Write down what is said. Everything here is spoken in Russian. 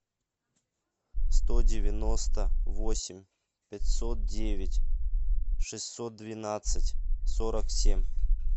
сто девяносто восемь пятьсот девять шестьсот двенадцать сорок семь